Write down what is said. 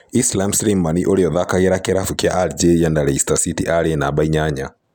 Islam Slimani ũria ũthakagira kĩravũkĩa Algeria na Leicester City arĩ numba inyanya